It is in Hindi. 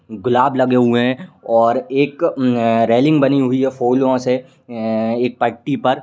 गुलाब लगे हुई हैं और एक उम् अ रेलिंग बनी हुई फूलों से एं एक पट्टी पर।